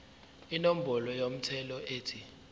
inombolo yomthelo ethi